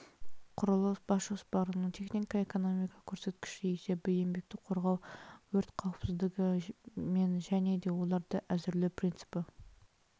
құрылыс бас жоспарының технико-экономикалық көрсеткіші есебі еңбекті қорғау өрт қауіпсіздігі мен және де оларды әзірлеу принципі